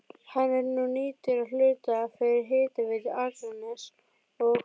Hann er nú nýttur að hluta fyrir Hitaveitu Akraness og